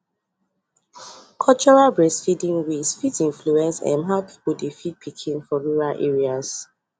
cultural breastfeeding ways fit influence um how people dey feed pikin for rural areas